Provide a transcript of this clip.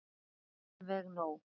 Alveg nóg.